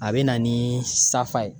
A bɛ na ni safa ye.